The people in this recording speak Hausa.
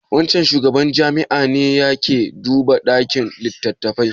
Wancan shugaban jami'a ne ya ke duba ɗakin littattafai?